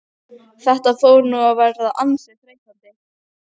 Þetta fór nú að verða ansi þreytandi.